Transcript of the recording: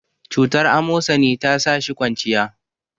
cutar amosani ta sa shi kwanciya